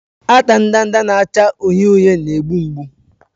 Ata ndanda na-acha uhie uhie na-egbu mgbu.